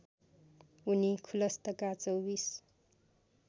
उनी खुलस्तका चौबीस